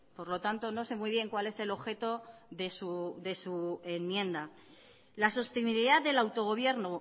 por lo tanto no sé muy bien cuál es el objeto de su enmienda la sostenibilidad del autogobierno